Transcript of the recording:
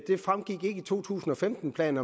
fremgik ikke af to tusind og femten planen